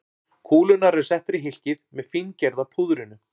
Kúlurnar eru settar í hylkið með fíngerða púðrinu.